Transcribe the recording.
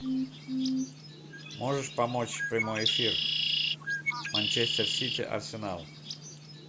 можешь помочь прямой эфир манчестер сити арсенал